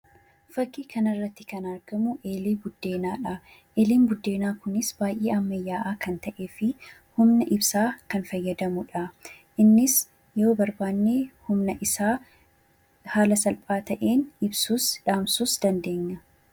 Fakkii kanarratti kan argamu eelee buddeenaadha. Eeleen buddeenaa kunis baay'ee ammayyaa'aa kan ta’ee fi humna ibsaa kan fayyadamudha. Innis humna isaa haala salphaa ta'een ibsuus dhaamsuus ni dandeenya.